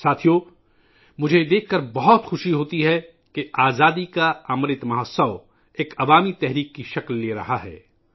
ساتھیو ، مجھے یہ دیکھ کر بہت خوشی ہو رہی ہے کہ آزادی کا امرت مہوتسو ایک عوامی تحریک کی شکل اختیار کر رہا ہے